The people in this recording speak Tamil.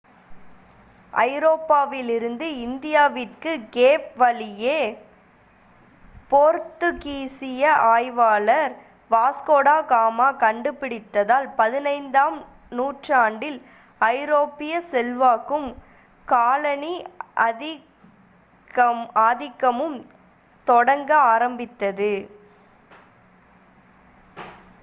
ஐரோப்பாவிலிருந்து இந்தியாவிற்கு கேப் வழியை போர்த்துக்கீசிய ஆய்வாளர் வாஸ்கோட காமா கண்டுபிடித்ததால் 15 ஆம் நூற்றாண்டில் ஐரோப்பிய செல்வாக்கும் காலனி ஆதிக்கமும் தொடங்க ஆரம்பித்தது